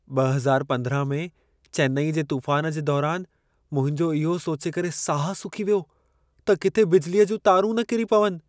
2015 में चेन्नई जे तूफ़ान जे दौरान मुंहिंजो इहो सोचे करे साह सुकी वियो त किथे बिजलीअ जूं तारूं न किरी पवनि।